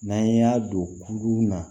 N'an y'a don kuru na